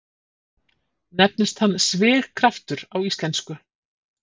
Nefnist hann svigkraftur á íslensku.